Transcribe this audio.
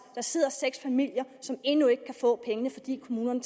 der sidder seks familier som endnu ikke kan få pengene fordi kommunen